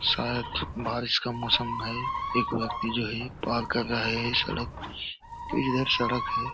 शायद बारिश का मौसम है एक व्यक्ति जो है पार कर रहा है सड़क इधर सड़क है।